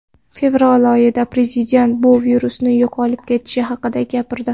Fevral oyida prezident bu virus yo‘qolib ketishi haqida gapirdi.